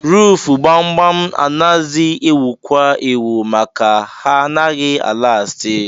Ruufu gbam-gbam anazi ewukwa ewu maka na ha naghị a lasti.